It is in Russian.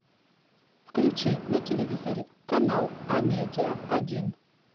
включи на телевизоре канал амедиа один